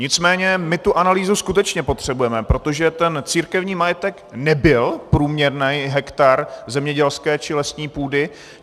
Nicméně my tu analýzu skutečně potřebujeme, protože ten církevní majetek nebyl průměrný hektar zemědělské či lesní půdy.